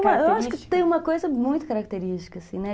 Eu acho que tem uma coisa muito característica, assim, né?